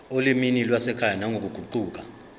olimini lwasekhaya nangokuguquka